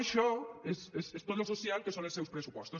això és tot el social que són els seus pressupostos